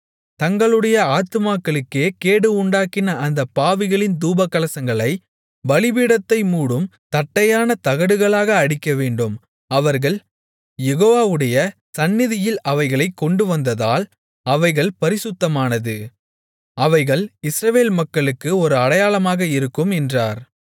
தங்களுடைய ஆத்துமாக்களுக்கே கேடு உண்டாக்கின அந்தப் பாவிகளின் தூபகலசங்களைப் பலிபீடத்தை மூடும் தட்டையான தகடுகளாக அடிக்கவேண்டும் அவர்கள் யெகோவாவுடைய சந்நிதியில் அவைகளைக் கொண்டுவந்ததால் அவைகள் பரிசுத்தமானது அவைகள் இஸ்ரவேல் மக்களுக்கு ஒரு அடையாளமாக இருக்கும் என்றார்